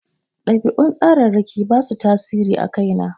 Ɗabi'un tsararraki ba su tasiri a kai na.